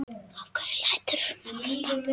Af hverju læturðu svona Ásta?